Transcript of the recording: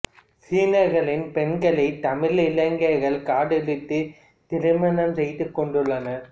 சீனர்களின் பெண்களைத் தமிழ் இளைஞர்கள் காதலித்துத் திருமணம் செய்து கொண்டுள்ளனர்